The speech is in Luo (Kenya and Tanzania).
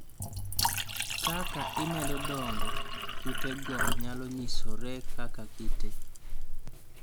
kaka imedo dongo kute go nyalo nyisore kaka kite